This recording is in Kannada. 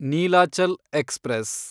ನೀಲಾಚಲ್ ಎಕ್ಸ್‌ಪ್ರೆಸ್